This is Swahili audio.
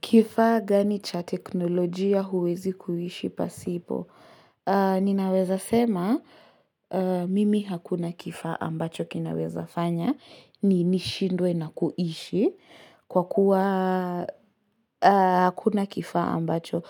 Kifa gani cha teknolojia huwezi kuishi pasipo? Ninaweza sema, mimi hakuna kifaaambacho kinaweza fanya, ni nishindwe na kuishi, kwa kuwa hakuna kifaaambacho.